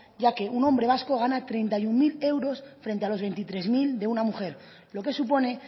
ya que un hombre vasco gana treinta y uno mil euros frente a los veintitrés mil de una mujer lo que supone